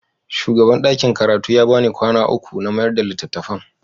Shugaban ɗakin karatu ya ba ni kwana uku in mayar da littattafan.